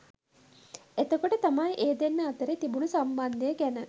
එතකොට තමයි ඒ දෙන්නා අතරේ තිබුණ සම්බන්ධය ගැන